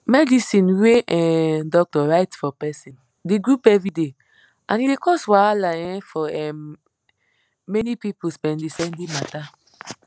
medicine wey um doctor write for person dey goup everyday and e dey cos wahala um for um many people spendispendi matter